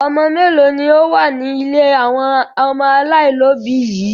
Ọmọ mélòó ni ó wà ní ilé àwọn ọmọ aláìlóòbí yìí?